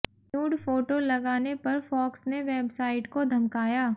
nude photo लगाने पर Fox ने वेबसाइट को धमकाया